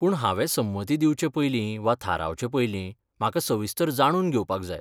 पूण हांवें संमती दिवचे पयलीं वा थारावचे पयलीं, म्हाका सविस्तर जाणून घेवपाक जाय.